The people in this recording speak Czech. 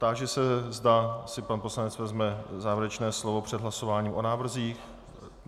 Táži se, zda si pan poslanec vezme závěrečné slovo před hlasováním o návrzích.